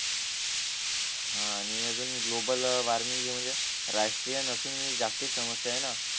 हा आणि अजून ग्लोबल वॉर्मिंग हि म्हणजे राष्ट्रीयन असून म्हणजे जागतिक समस्या आहे ना